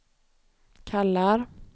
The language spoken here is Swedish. kallar